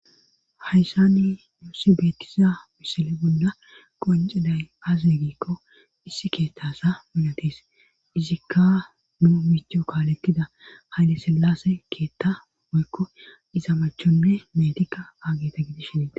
hayssani nuussi beettiza misile bola qonceday aze giikko issi keettasa minotis izikka nu miicho kaaletida hayle sillase keetta woykko iza machonne metika aageta gidishiniita